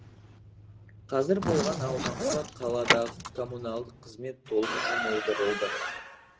қазір болған аумаққа қаладағы коммуналдық қызмет толық жұмылдырылды